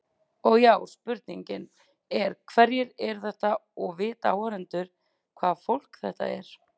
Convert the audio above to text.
Og já, spurningin er hverjir eru þetta og vita áhorfendur hvaða fólk þetta er?